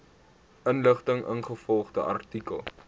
inligting ingevolge artikel